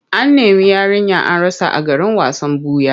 An nemi yarinya an rasa a garin wasan ɓuya.